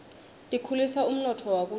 tikhulisa umnotfo wakuleli